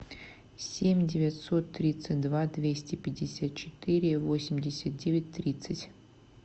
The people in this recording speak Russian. семь девятьсот тридцать два двести пятьдесят четыре восемьдесят девять тридцать